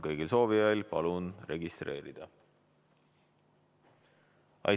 Kõigil soovijail palun end registreerida.